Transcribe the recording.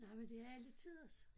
Nej men det er alletiders